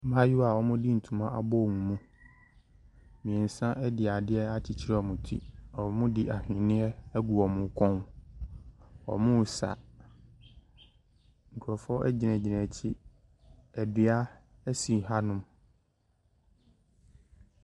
Mmaayewa a wɔde ntoma abɔ wɔn mu. Mmeɛnsa de adeɛ akyekyere wɔn ti. Wɔde ahweneɛ agu wɔn kɔn. Wɔresa. Nkurɔfoɔ gyingyina akyire. Dua si hanom.